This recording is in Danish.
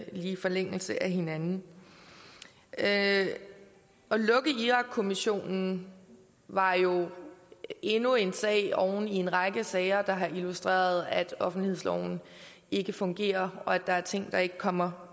i forlængelse af hinanden at lukke irakkommissionen var jo endnu en sag oven i en række sager der har illustreret at offentlighedsloven ikke fungerer og at der er ting der ikke kommer